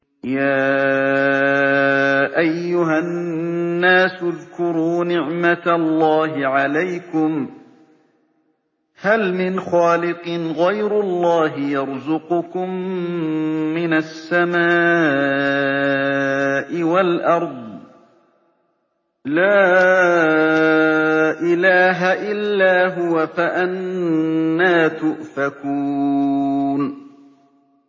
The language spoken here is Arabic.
يَا أَيُّهَا النَّاسُ اذْكُرُوا نِعْمَتَ اللَّهِ عَلَيْكُمْ ۚ هَلْ مِنْ خَالِقٍ غَيْرُ اللَّهِ يَرْزُقُكُم مِّنَ السَّمَاءِ وَالْأَرْضِ ۚ لَا إِلَٰهَ إِلَّا هُوَ ۖ فَأَنَّىٰ تُؤْفَكُونَ